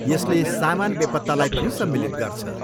यसले सामान बेपत्तालाई पनि सम्मिलित गर्छ।